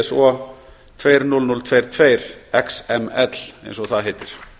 iso tuttugu þúsund tuttugu og tvö xml eins og það heitir